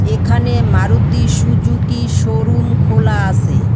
এখানে Maruti Suzuki showroom খোলা আসে ।